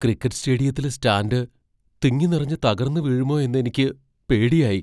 Cricket സ്റ്റേഡിയത്തിലെ stand തിങ്ങി നിറഞ്ഞ് തകർന്നു വീഴുമോ എന്നെനിക്ക് പേടിയായി.